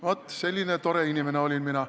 Vaat, selline tore inimene olin mina.